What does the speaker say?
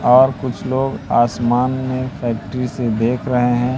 और कुछ लोग आसमान में फैक्टरी से देख रहे हैं।